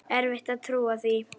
Erfitt að trúa því.